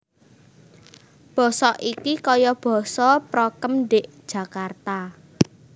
Boso iki koyo boso prokem ndik Jakarta